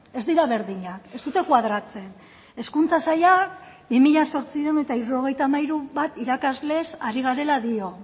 ez dira berdinak ez dute koadratzen hezkuntza saila bi mila zortziehun eta hirurogeita hamairu bat irakaslez ari garela dio